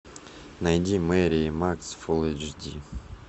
найди мери и макс фул эйч ди